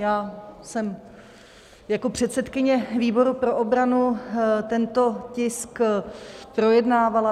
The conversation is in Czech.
Já jsem jako předsedkyně výboru pro obranu tento tisk projednávala.